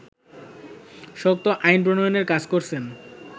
শক্ত আইন প্রনয়নের কাজ করছেন